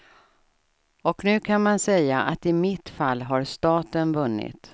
Och nu kan man säga att i mitt fall har staten vunnit.